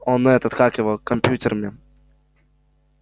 он этот как его компьютермен